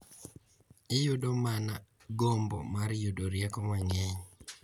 Iyudo mana gombo mar yudo rieko mang’eny .